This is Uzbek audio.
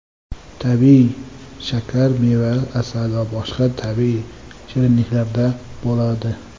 Tabiiy shakar meva, asal va boshqa tabiiy shirinliklarda bo‘ladi.